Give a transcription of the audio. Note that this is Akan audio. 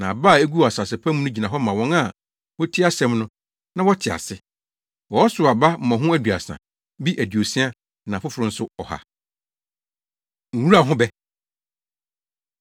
Na aba a eguu asase pa mu no gyina hɔ ma wɔn a wotie asɛm no, na wɔte ase. Wɔsow aba mmɔho aduasa; bi aduosia; na afoforo nso, ɔha.” Nwura Ho Bɛ